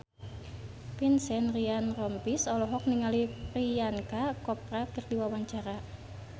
Vincent Ryan Rompies olohok ningali Priyanka Chopra keur diwawancara